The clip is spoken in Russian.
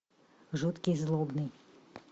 жуткий злобный